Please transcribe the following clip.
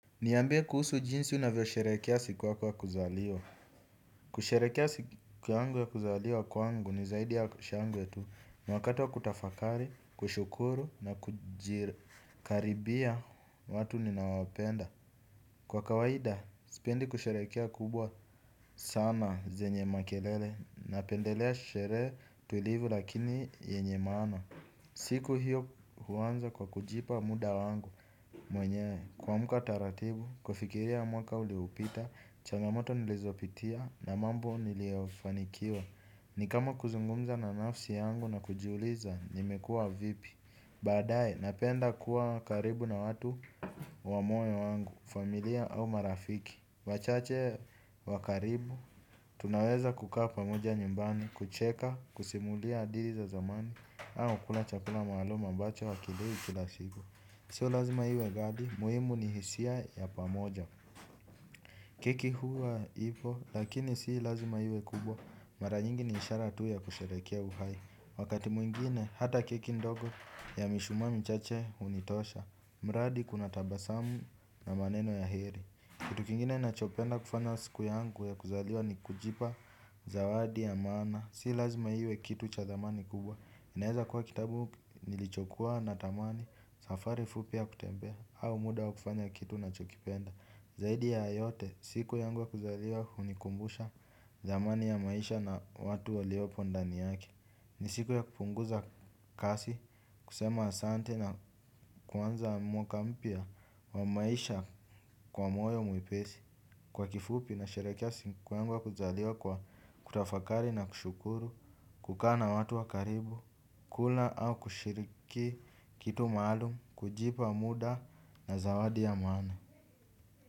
Niambie kuhusu jinsi unavyosherehekea siku yako ya kuzaliwa. Kusherehekea siku yangu ya kuzaliwa kwangu ni zaidi ya shangwe tu ni wakati wa kutafakari, kushukuru na kujire. Karibia watu ninawapenda. Kwa kawaida, sipendi kusherehekea kubwa sana zenye makelele. Napendelea sherehe tulivu lakini yenye maana. Siku hiyo huanza kwa kujipa muda wangu mwenyewe, kuamka taratibu, kufikiria mwaka uliopita. Changamoto nilizopitia na mambo niliofanikiwa. Ni kama kuzungumza na nafsi yangu na kujiuliza. Nimekua vipi. Badae napenda kuwa karibu na watu wa moyo wangu, familia au marafiki wachache wa karibu tunaweza kukaa pamoja nyumbani kucheka, kusimulia hadithi za zamani au kula chakula maalum ambacho hakiliwi kila siku So lazima iwe gadi, muhimu ni hisia ya pamoja. Keki huwa ipo, lakini si lazima iwe kubwa, mara nyingi ni ishara tu ya kusherehekea uhai. Wakati mwingine, hata keki ndogo ya mishumaa michache hunitosha, mradi kuna tabasamu na maneno ya heri. Kitu kingine nachopenda kufanya siku yangu ya kuzaliwa ni kujipa zawadi ya maana. Si lazima iwe kitu cha thamani kubwa, inaeza kuwa kitabu nilichokuwa natamani, safari fupi ya kutembea, au muda wa kufanya kitu unachokipenda. Zaidi ya yote, siku yangu ya kuzaliwa hunikumbusha zamani ya maisha na watu waliopo ndani yake. Ni siku ya kupunguza kasi, kusema asante na kuanza mwaka mpya wa maisha kwa moyo mwepesi. Kwa kifupi nasherehekea siku yangu ya kuzaliwa kwa kutafakari na kushukuru, kukaa watu wa karibu, kula au kushiriki kitu maalum, kujipa muda na zawadi ya maana.